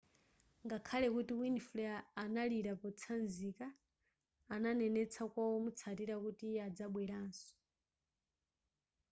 ngakhale kuti winfrey analira potsanzika ananenetsa kwa omutsatila kuti iye adzabwelanso